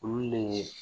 Olu de ye